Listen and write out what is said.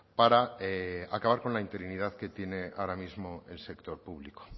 para acabar con la interinidad que tiene ahora mismo el sector público